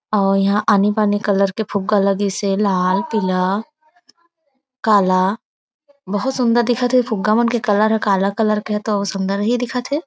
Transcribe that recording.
अउ यहाँ आनि- बानी कलर के फुग्गा लगिस हे लाल पीला काला बहुत सुन्दर दिखात थे फुग्गा मन के कलर हा काला के हा तो सुन्दर ही दिखत हे।